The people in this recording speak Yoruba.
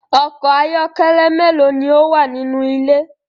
Ọkọ̀ ayọ́kẹ́lẹ́ méèló ni ó wà nínú ilé?